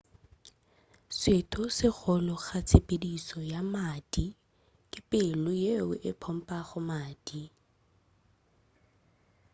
setho se golo ga tshepedišo ya madi ke pelo yeo e pompago madi